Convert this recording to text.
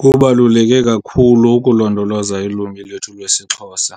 Kubaluleke kakhulu ukulondoloza ilwimi lwethu lwesiXhosa